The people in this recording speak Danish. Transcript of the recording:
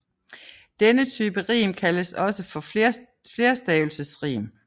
Denne type rim kaldes også for flerstavelsesrim